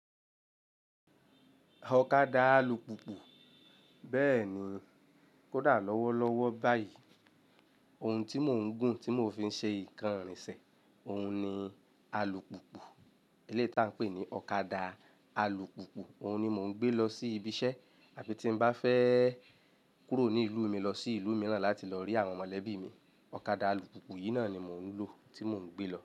Ọ̀kadà alùpùpù, bẹ́ẹ̀ ni, kódà lọ́wọ́ lọ́wọ́ báyìí, ohun tí mò ń gùn tí mò ń fi ṣe ìkàn irìn ṣé, òun ni alùpùpù. Eléè tí a ń pè ní ọ̀kadà alùpùpù, òun ni mò ń gbé lọ sí ibi iṣẹ́ àbí tí n bá fẹ́ kúrò ní ìlú mi lọ sí ìlú mìíràn láti lọ rí àwọn mọ̀lẹ́bí mi, ọ̀kadà alùpùpù yìí náà ni mò ń lò, tí mò ń gbé lọ.